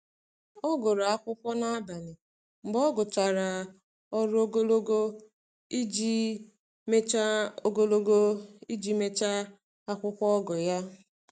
Ọ gụrụ akwụkwọ n’abalị mgbe ọ gụchara ọrụ ogologo iji mechaa ogologo iji mechaa akwụkwọ ogo ya.